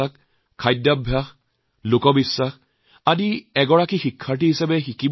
কিছু জানিম বুজিম হৃদয়ংগম কৰিম এনে প্ৰতিশ্ৰুতি লৈ ঘুৰিবলৈ যাওঁক